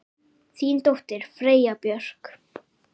Þín dóttir, Freyja Björk.